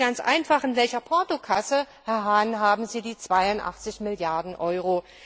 Ich frage Sie ganz einfach In welcher Portokasse, Herr Hahn, haben Sie die 82 Milliarden Euro?